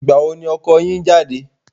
Ìgbà wo ni ọkọ yín ń jáde?